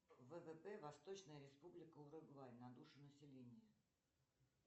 ввп восточная республика уругвай на душу населения